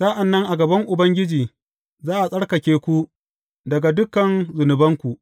Sa’an nan a gaban Ubangiji, za a tsarkake ku daga dukan zunubanku.